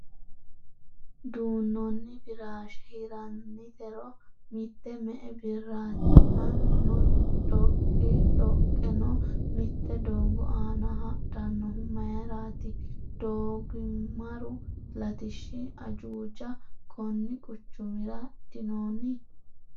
Duunnoonni firaashshe hirrannitero mitte me'e birraati ? Mannuno dhoqi dhoqeno mitte doogo aana hadhannohu mayiraati doogimaru latishshi ajuuja konni quchumira dinonni ?